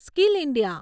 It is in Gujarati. skill India